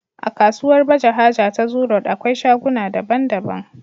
akasuwar baje haja ta zoo road akwai shaguna da bandaban